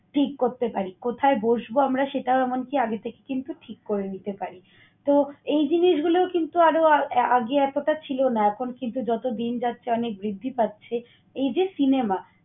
ঠিক করতে পারি। কোথায় বসবো আমরা সেটাও এমনকি আগে থেকে কিন্তু ঠিক করে নিতে পারি। তো, এই জিনিসগুলো কিন্তু আরো আগে এতটা ছিল না। এখন কিন্তু যত দিন যাচ্ছে অনেক বৃদ্ধি পাচ্ছে। এই যে cinema